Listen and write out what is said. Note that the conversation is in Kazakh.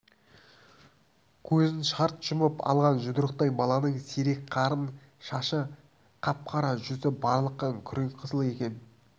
көзін шарт жұмып алған жұдырықтай баланың сирек қарын шашы қап-қара жүзі барлыққан күреңқызыл екен